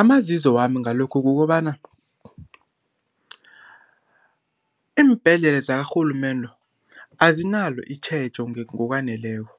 Amazizo wami ngalokhu kukobana, iimbhedlela zikarhulumende azinalo itjhejo ngokwaneleko.